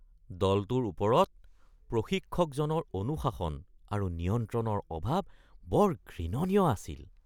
দলটোৰ ওপৰত প্ৰশিক্ষকজনৰ অনুশাসন আৰু নিয়ন্ত্ৰণৰ অভাৱ বৰ ঘৃণনীয় আছিল